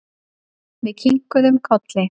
Við kinkuðum kolli.